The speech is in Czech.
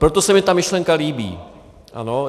Proto se mi ta myšlenka líbí.